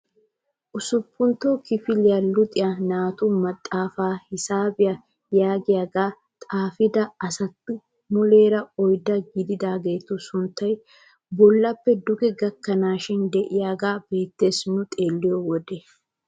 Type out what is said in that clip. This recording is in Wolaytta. Usuppuntto kifiliyaa luxiyaa naatu maxaafaa hisaabiyaa yaagiyaagaa xaafida asati muleera oydda gididaagetu sunttay bollappe duge gakkanaashin de'iyaagee beettes nu xeelliyode.